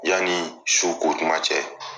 Yanni su ko tuma cɛ.